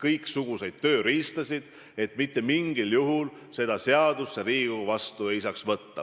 kõiksuguseid tööriistasid, et mitte mingil juhul seda seadust Riigikogu vastu ei saaks võtta.